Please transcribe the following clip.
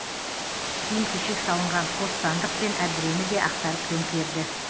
киім кешек салынған қос сандық пен әбдірені де ақтарып төңкерді